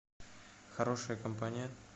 хорошая компания